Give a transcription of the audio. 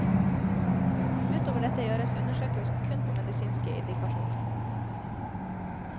Ut over dette gjøres undersøkelsen kun på medisinske indikasjoner.